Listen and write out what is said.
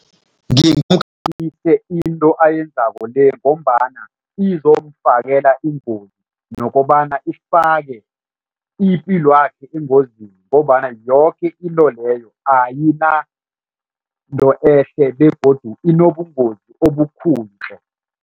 Into ayenzako le ngombana izomfakela ingozi nokobana ifake ipilwakhe engozini ngombana yoke into leyo ayinanto ehle begodu inobungozi obukhulu tle.